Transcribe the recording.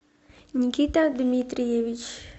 никита дмитриевич